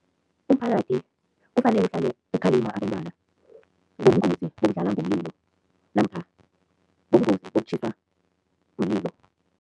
Umphakathi kufanele uhlale ukhalima abentwana ngobungozi bokudlala ngomlilo namkha ngobungozi bokutjhisa umlilo.